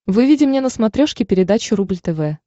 выведи мне на смотрешке передачу рубль тв